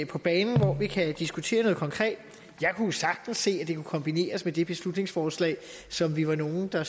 på banen hvor vi kan diskutere noget konkret jeg kunne sagtens se at det kunne kombineres med det beslutningsforslag som vi var nogle der